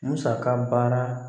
Musaka baara